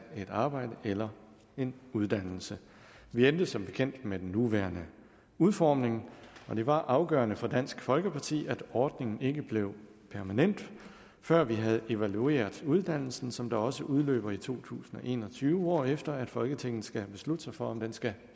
et arbejde eller en uddannelse vi endte som bekendt med den nuværende udformning og det var afgørende for dansk folkeparti at ordningen ikke blev permanent før vi havde evalueret uddannelsen som da også udløber i to tusind og en og tyve hvorefter folketinget skal beslutte sig for om den skal